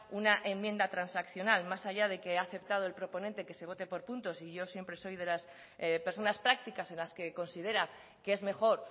una enmienda transaccional más allá de que ha aceptado el proponente que se vote por puntos y yo siempre soy de las personas prácticas en las que considera que es mejor